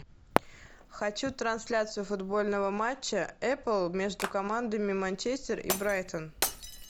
хочу трансляцию футбольного матча апл между командами манчестер и брайтон